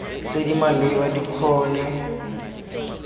tse di maleba di kgone